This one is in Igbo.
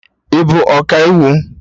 Ị bụ Ọkaiwu?